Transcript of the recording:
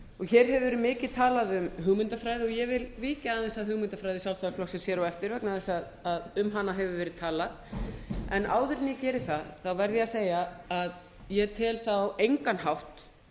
hér hefur verið mikið tala um hugmyndafræði ég vil víkja aðeins að hugmyndafræði sjálfstæðisflokksins hér á eftir vegna þess að um hana hefur verið talað áður en ég geri það verð ég að segja að ég tel það á engan hátt